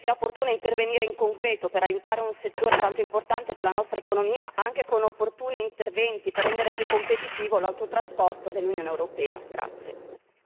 Credo quindi che sia opportuno intervenire in concreto per aiutare un settore tanto importante per la nostra economia, anche con opportuni interventi per rendere più competitivo l'autotrasporto dell'Unione europea.